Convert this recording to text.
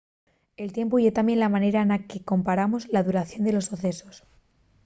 el tiempu ye tamién la manera na que comparamos la duración de los socesos